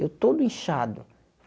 Eu todo inchado.